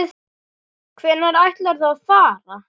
Hvenær ætlarðu að fara?